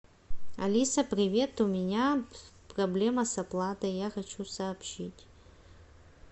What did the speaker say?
алиса привет у меня проблема с оплатой я хочу сообщить